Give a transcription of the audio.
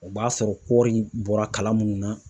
O b'a sɔrɔ kɔɔri bɔra kala mun na